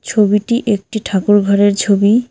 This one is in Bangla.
ছবিটি একটি ঠাকুর ঘরের ছবি।